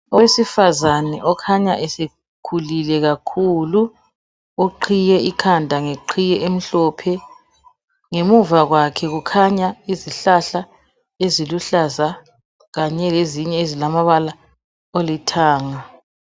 Owesifazana okhanya esekhulile kakhulu oqhiye ikhanda ngeqhiye emhlophe. Ngemuva kwakhe kukhanya izihlahla eziluhlaza Kanye lezinye ezilamabala alithanga.